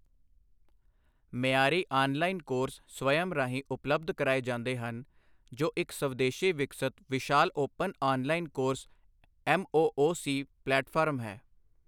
ਮਿਆਰੀ online course Swayam ਰਾਹੀਂ ਉਪਲਬੱਧ ਕਰਾਏ ਜਾਂਦੇ ਹਨ, ਜੋ ਇੱਕ ਸਵਦੇਸ਼ੀ ਵਿਕਸਤ ਵਿਸ਼ਾਲ open online course MOOC platform ਹੈ।